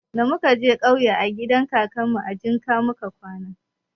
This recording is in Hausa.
Da muka je ƙauye gidan kakanmu a jinƙa muka kwana.